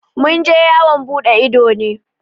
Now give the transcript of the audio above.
Mun je yawan buɗe ido ne.